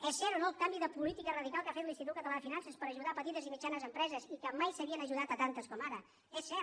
és cert o no el canvi de política radical que ha fet l’institut català de finances per ajudar petites i mitjanes empreses i que mai se n’havien ajudat tantes com ara és cert